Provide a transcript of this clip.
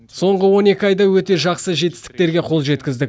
соңғы он екі айда өте жақсы жетістіктерге қол жеткіздік